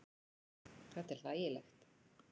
Þetta er hlægilegt.